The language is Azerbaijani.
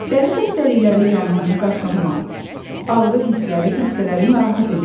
Dəri xəstəlikləri zamanı qaşınma, ağrı hissləri xəstələri narahat edir.